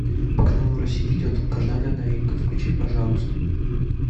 по каналу россия идет долгожданная новинка включи пожалуйста